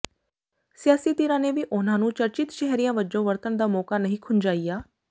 ਸਿਆਸੀ ਧਿਰਾਂ ਨੇ ਵੀ ਉਨ੍ਹਾਂ ਨੂੰ ਚਰਚਿਤ ਚਿਹਰਿਆਂ ਵਜੋਂ ਵਰਤਣ ਦਾ ਮੌਕਾ ਨਹੀਂ ਖੁੰਝਾਇਆ